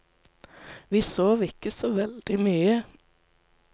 Vi sov ikke så veldig mye.